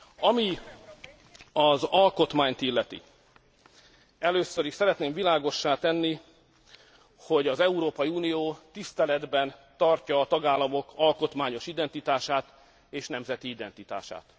Ami az alkotmányt illeti először is szeretném világossá tenni, hogy az Európai Unió tiszteletben tartja a tagállamok alkotmányos identitását és nemzeti identitását.